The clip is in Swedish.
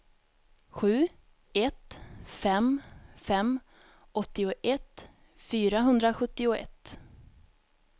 sju ett fem fem åttioett fyrahundrasjuttioett